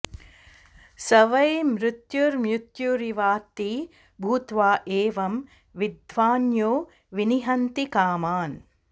स वै मृत्युर्मृत्युरिवात्ति भूत्वा एवं विद्वान्यो विनिहन्ति कामान्